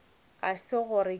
ga se gore ke a